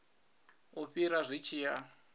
u fhira zwi tshi ya